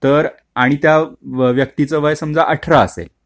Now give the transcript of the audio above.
दर महिन्याला तर आणि त्या व्यक्तीचं वय समजा अठरा असेल